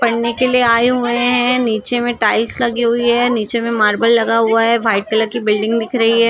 पढ़ने के लिए आए हुए हैं नीचे में टाइल्स लगी हुई है नीचे में मार्बल लगा हुआ है वाइट कलर की बिल्डिंग दिख रही है।